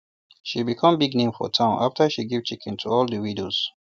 she become big name for town after she give chicken to all the widows